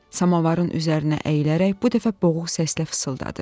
Samavarın üzərinə əyilərək bu dəfə boğuq səslə fısıldadı: